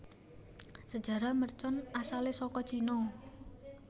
Sejarah mercon asalé saka Cina